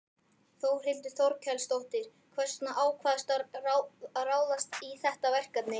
Þórhildur Þorkelsdóttir: Hvers vegna ákvaðstu að ráðast í þetta verkefni?